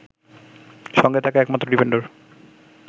সঙ্গে থাকা একমাত্র ডিফেন্ডার